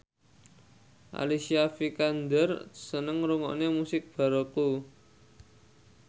Alicia Vikander seneng ngrungokne musik baroque